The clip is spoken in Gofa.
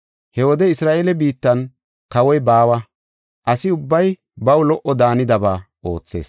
He wode Isra7eele biittan kawoy baawa; asi ubbay baw lo77o daanidaba oothees.